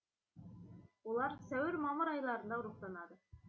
олар сәуір мамыр айларында ұрықтанады